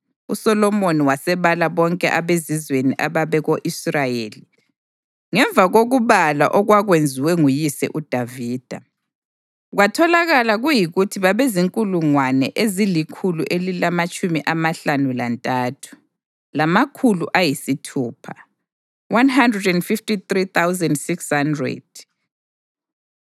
USolomoni wasebala bonke abezizweni ababeko-Israyeli, ngemva kokubalwa okwakwenziwe nguyise uDavida; kwatholakala kuyikuthi babezinkulungwane ezilikhulu elilamatshumi amahlanu lantathu, lamakhulu ayisithupha (153,600).